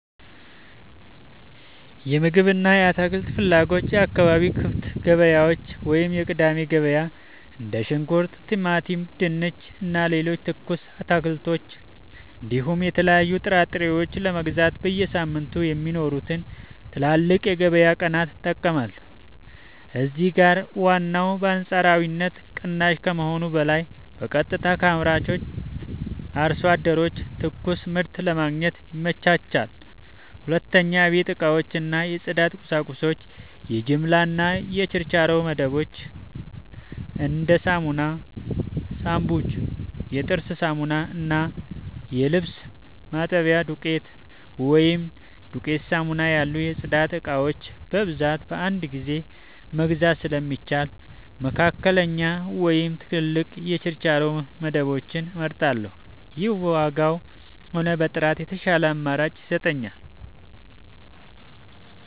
የምግብ እና የአትክልት ፍላጎቶች የአካባቢ ክፍት ገበያዎች (የቅዳሜ ገበያ): እንደ ሽንኩርት፣ ቲማቲም፣ ድንች እና ሌሎች ትኩስ አትክልቶችን እንዲሁም የተለያዩ ጥራጥሬዎችን ለመግዛት በየሳምንቱ የሚኖሩትን ትላልቅ የገበያ ቀናት እጠቀማለሁ። እዚህ ጋር ዋጋው በአንጻራዊነት ቅናሽ ከመሆኑም በላይ በቀጥታ ከአምራች አርሶ አደሮች ትኩስ ምርት ለማግኘት ይመቻቻል። 2. የቤት እቃዎች እና የጽዳት ቁሳቁሶች የጅምላ እና የችርቻሮ መደብሮች: እንደ ሳሙና፣ ሻምፑ፣ የጥርስ ሳሙና እና የልብስ ማጠቢያ ዱቄት (ዱቄት ሳሙና) ያሉ የጽዳት እቃዎችን በብዛት በአንድ ጊዜ መግዛት ስለሚሻል፣ መካከለኛ ወይም ትላልቅ የችርቻሮ መደብሮችን እመርጣለሁ። ይህም በዋጋም ሆነ በጥራት የተሻለ አማራጭ ይሰጠኛል።